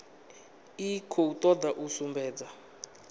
i khou toda u sumbedza